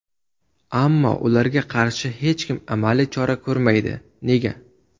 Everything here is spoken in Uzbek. Ammo ularga qarshi hech kim amaliy chora ko‘rmaydi, nega?